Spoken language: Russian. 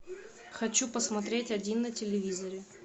хочу посмотреть один на телевизоре